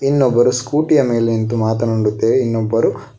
ಇನ್ನೊಬ್ಬರ ಸ್ಕೂಟಿಯ ಮೇಲೆ ನಿಂತು ಮಾತನಾಡುತ್ತೆ ಇನ್ನೊಬ್ಬರು.